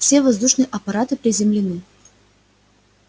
все воздушные аппараты приземлены